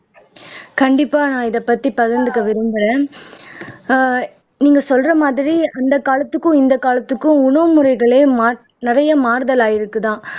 கண்டிப்பா நான் இதைப்பத்தி பகிர்ந்துக்க விரும்பறேன் ஆஹ் நீங்க சொல்ற மாதிரி அந்தக் காலத்துக்கும் இந்தக் காலத்துக்கும் உணவு முறைகளே மாட் நிறைய மாறுதல் ஆயிருக்குதாம்